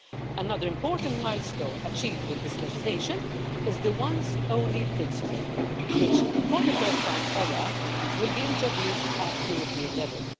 Another important milestone achieved with this legislation is the once only' principle, which for the first time ever will be introduced at European level.